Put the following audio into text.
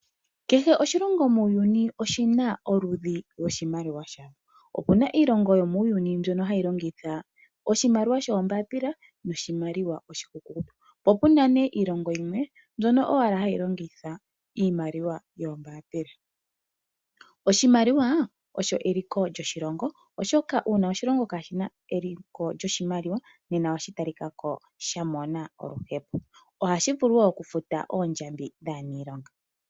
Kehe oshilongo muuyuni oshina oludhi loshimaliwa yasho. Opu na iilongo yomuuyuni mbyono ha yi longitha oshimaliwa shombapila noshimaliwa oshi kukutu. Po opuna iilongo yimwe mbyono owala hayi longitha iimaliwa yoombambila, oshimaliwa osho eliko lyoshilongo oshoka una oshilongo ka shina eliko lyoshimaliwa nena osha ta li kako sha mona oluhepo molwashoka oha shi vulu oku futa oondjambi dhaanilonga.